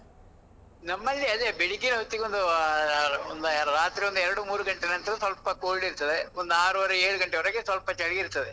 ನಮಲ್ಲಿ ಅದೇ, ಬೆಳಿಗ್ಗೆ ಹೊತ್ತಿಗೆ ಒಂದು ಒಂದು ರಾತ್ರಿ ಒಂದು ಎರಡು ಮೂರು ಗಂಟೆ ನಂತ್ರ ಸ್ವಲ್ಪ cold ಇರ್ತದೆ, ಒಂದು ಆರುವರೆ ಏಳ್ ಗಂಟೆವರಗೆ ಸ್ವಲ್ಪ ಚಳಿ ಇರ್ತದೆ.